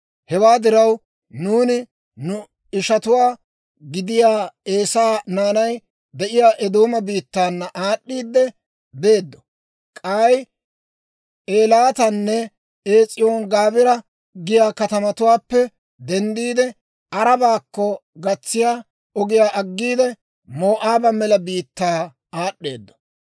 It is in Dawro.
« ‹Hewaa diraw, nuuni nu ishatuwaa gidiyaa Eesaa naanay de'iyaa Eedooma biittaana aad'd'iidde beeddo. K'ay Eelaatanne Ees'iyooni-Gaabira giyaa katamatuwaappe denddiide, Arabaakko gatsiyaa ogiyaa aggiide, Moo'aaba mela biittaa aad'd'eeddo.